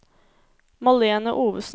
Malene Ovesen